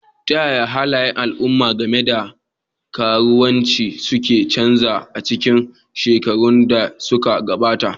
Ta yaya halayen al'umma game da karuwanci suka canza a cikin shekarun da suka gabata?